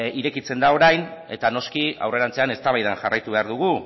irekitzen da orain eta noski aurrerantzean eztabaidan jarraitu behar dugu